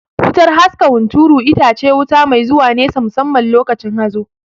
Wutar haska hunturu itace wuta mai zuwa nesa musamman lokacin hazo